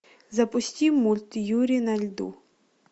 запусти мульт юрий на льду